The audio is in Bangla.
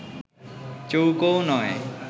চৌকোও নয়